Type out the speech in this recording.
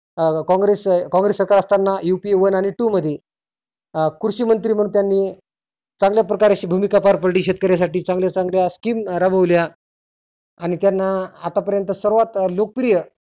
अं कॉंग्रेस कॉंग्रस सरकार UP one आणि two मध्ये अं कृषी मंत्री म्हणुन त्यांनी चांगल्या प्रकारे अशी भुमिका पार पाडली. शेतकर्यांसाठी चांगल्या चांगल्या scheam राबवल्या आणि त्यांना आता पर्यंत सर्वात लोक प्रिय